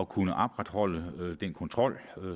kunne opretholde den kontrol